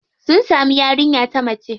Sun samu yarinya ta mace.